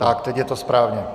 Tak, teď je to správně.